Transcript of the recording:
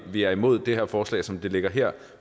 vi er imod det her forslag som det ligger her